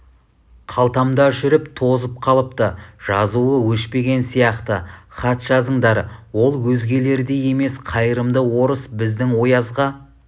қалтамда жүріп тозып қалыпты жазуы өшпеген сияқты хат жазыңдар ол өзгелердей емес қайырымды орыс біздің оязға